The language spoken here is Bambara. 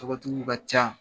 Tɔgɔtigiw ka ca.